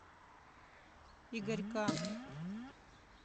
игорька